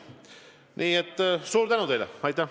Nii et suur tänu teile!